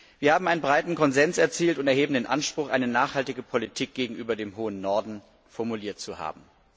Wir haben einen breiten Konsens erzielt und erheben den Anspruch, eine nachhaltige Politik gegenüber dem Hohen Norden formuliert zu haben.